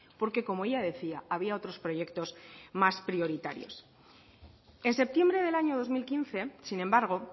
porque como ella decía había otros proyectos más prioritarios en septiembre del año dos mil quince sin embargo